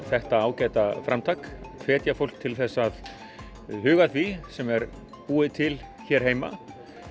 þetta ágæta framtak hvetja fólk til þess að huga að því sem er búið til hér heima